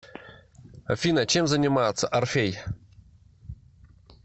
афина чем занимается орфей